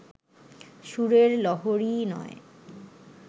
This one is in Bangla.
সুরের লহরীই নয়